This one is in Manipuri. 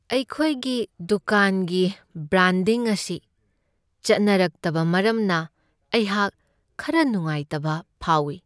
ꯑꯩꯈꯣꯏꯒꯤ ꯗꯨꯀꯥꯟꯒꯤ ꯕ꯭ꯔꯥꯟꯗꯤꯡ ꯑꯁꯤ ꯆꯠꯅꯔꯛꯇꯕ ꯃꯔꯝꯅ ꯑꯩꯍꯥꯛ ꯈꯔ ꯅꯨꯡꯉꯥꯏꯇꯕ ꯐꯥꯎꯢ ꯫